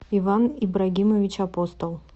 иван ибрагимович апостол